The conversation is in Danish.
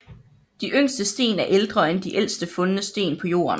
De yngste sten er ældre end de ældste fundne sten på Jorden